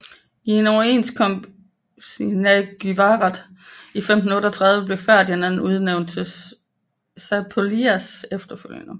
I en overenskomst i Nagyvarad i 1538 blev Ferdinand udnævnt til Zápolyas efterfølger